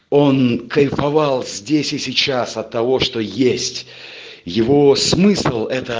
он кайфовал здесь и сейчас от того что есть его смысл это